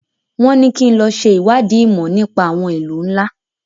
Wọ́n ní kí n lọ ṣe ìwádìí ìmọ̀ nípa àwọn ìlú ńlá.